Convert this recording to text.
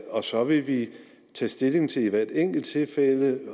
og så vil vi tage stilling til i hvert enkelt tilfælde